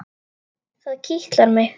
Það kitlar mig.